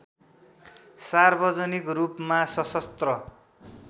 सार्वजनिक रूपमा सशस्त्र